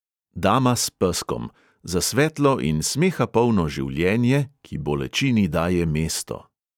Dama s peskom – za svetlo in smeha polno življenje, ki bolečini daje mesto.